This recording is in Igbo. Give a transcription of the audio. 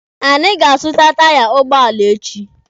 Anyị ga-azụta taiya ụgbọala echi.